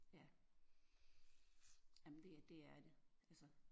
Ja ja men det det er det altså